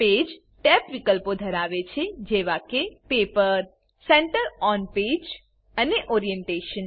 page tab વિકલ્પો ધરાવે છે જેવા કે ઇ પેપર સેન્ટર ઓન પેજ અને ઓરિએન્ટેશન